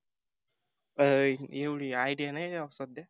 अं एवढी idea नाही राव सध्या.